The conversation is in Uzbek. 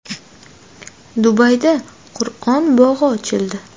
Dubayda Qur’on bog‘i ochildi.